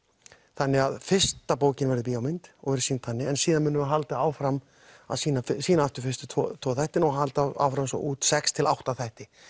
þannig að fyrsta bókin verður bíómynd og verður sýnd þannig en síðan munum við halda áfram að sýna sýna aftur fyrstu tvo tvo þættina og halda áfram svo út sex til átta þætti